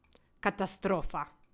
Katastrofa!